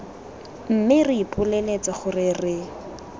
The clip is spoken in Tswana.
mme re ipoleletse gore re